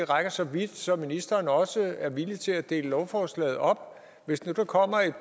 rækker så vidt så ministeren også er villig til at dele lovforslaget op hvis nu der kommer et